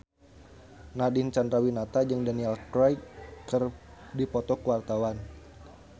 Nadine Chandrawinata jeung Daniel Craig keur dipoto ku wartawan